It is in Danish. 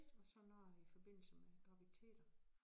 Og så noget i forbindelse med graviditeter